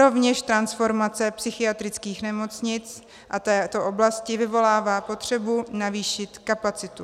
Rovněž transformace psychiatrických nemocnic a této oblasti vyvolává potřebu navýšit kapacitu.